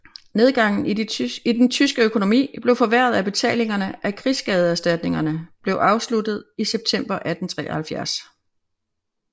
Nedgangen i den tyske økonomi blev forværret af at betalingerne af krigsskadeserstatninger blev afsluttet i september 1873